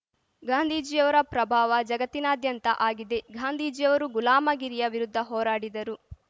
ಗಾಂಧೀಜಿಯವರ ಪ್ರಭಾವ ಜಗತ್ತಿನಾದ್ಯಂತ ಆಗಿದೆ ಗಾಂಧೀಜಿಯವರು ಗುಲಾಮಗಿರಿಯ ವಿರುದ್ಧ ಹೋರಾಡಿದರು